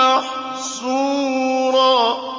مَّحْسُورًا